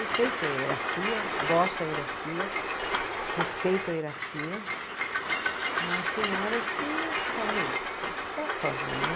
Eu sei que tem a hierarquia, gosto da hierarquia, respeito a hierarquia, mas tem horas que você fala, sozinha.